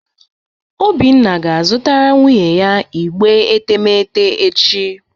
Obinna ga-azụtara nwunye ya igbe etemeete echi